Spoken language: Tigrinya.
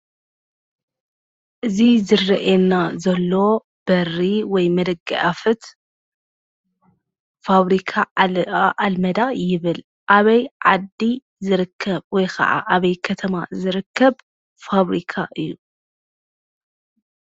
እዚ ዝርአየና ዘሎ በሪ ወይ ድማ ደገኣፌት ፋብሪካ ዓለባ ኣልመዳ ይብል፡፡ ኣበይ ዓዲ ዝርከብ ወይ ኸዓ ኣበይ ከተማ ዝርከብ ፋብሪካ እዩ?